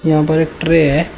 यहां पर एक ट्रे है।